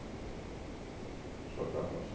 O pessoal estava como assim.